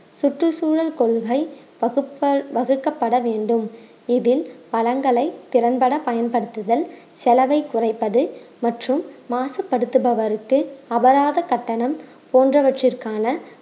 சுற்றுச்சூழல் கொள்கை வகுக்க~ வகுக்கப்பட வேண்டும் இதில் பலன்களை திறன்பட பயன்படுத்துதல் செலவை குறைப்பது மற்றும் மாசுபடுத்துபவருக்கு அபராத கட்டணம் போன்றவற்றிற்கான